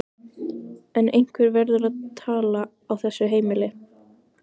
En einhver verður að tala á þessu heimili.